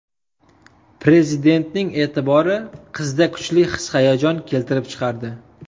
Prezidentning e’tibori qizda kuchli his-hayajon keltirib chiqardi.